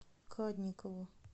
кадникову